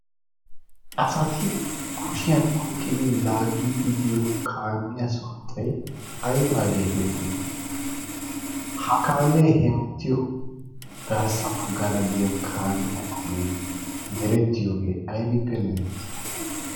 asati kushiyan oyqqidi laaggiddi diyo kaamiya sunttay aybageetettii? ha kaamee hemettiyo garssa baggara de7iya kaamiya ogee merettiyoogee aybbippe merettii?